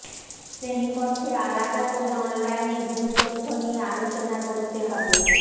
শ্রেনীকক্ষে আলাদা করে অনলাইনে ভুল তথ্য নিয়ে আলোচনা করতে হবে